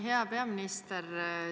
Hea peaminister!